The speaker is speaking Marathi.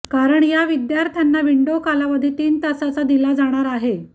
कारण या विद्यार्थ्यांना विंडो कालावधी तीन तासाचा दिला जाणार आहे